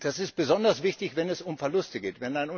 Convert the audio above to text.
Das ist besonders wichtig, wenn es um Verluste geht.